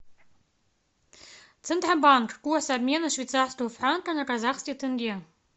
центробанк курс обмена швейцарского франка на казахский тенге